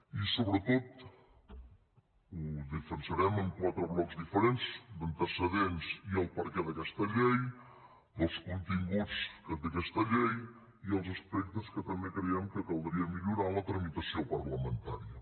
i sobretot ho defensarem en quatre blocs diferents antecedents i el perquè d’aquesta llei els continguts que té aquesta llei i els aspectes que també creiem que caldria millorar en la tramitació parlamentària